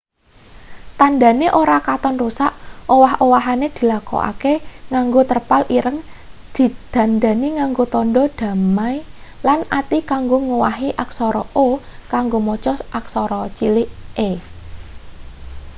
tandhane ora katon rusak owah-owahane dilakokake nganggo terpal ireng didandani nganggo tandha damai lan ati kanggo ngowahi aksara o kanggo maca aksara cilik e